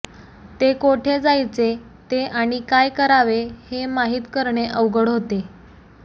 तो कोठे जायचे ते आणि काय करावे हे माहित करणे अवघड होते